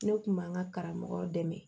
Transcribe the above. Ne kun b'an ka karamɔgɔ dɛmɛ